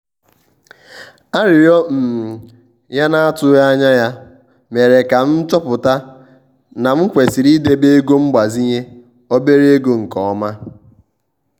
arịrịọ um ya na-atụghị anya ya mere ka m chọpụta na m kwesịrị ịdebe ego mgbazinye obere ego nke ọma. um